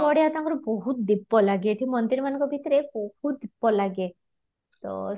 ବଢିଆ ତାଙ୍କର ବହୁତ ଦୀପ ଲାଗେ ଏଠି ମନ୍ଦିର ମାନକ ଭିତରେ ବହୁତ ଦୀପ ଲାଗେ ତ